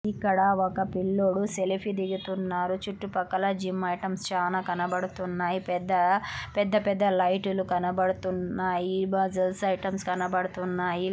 ఇక్కడ ఒక పిల్లోడు సెల్ఫీ దిగుతున్నారు. చుట్టుపక్కల జిమ్(gym) చాలా కనబడు తున్నాయి. పెద్ద పెద్దపల్లి లైక్ టాయ్ సోల్జర్స్ సైతం కనబడుతున్నాయిలు కనబడుతున్నాయి. జీవితం కూడా చానా బాధ పడుతున్న చుట్టుపక్కల ఉన్నాయి. చాలా మతము.